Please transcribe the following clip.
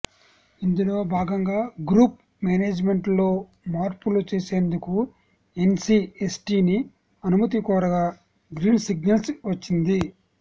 ఇందులో భాగంగా గ్రూప్ మేనేజ్మెంట్లో మార్పులు చేసేందుకు ఎన్సిఎస్టిని అనుమతి కోరగా గ్రీన్సిగ్నల్ వచ్చింది